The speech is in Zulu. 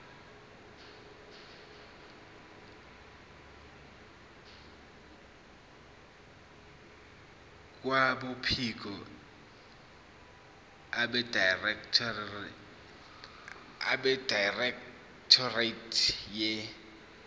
kwabophiko abedirectorate ye